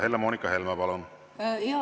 Helle-Moonika Helme, palun!